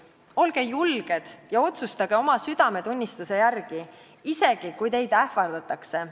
Olge julged ja otsustage oma südametunnistuse järgi, isegi kui teid ähvardatakse.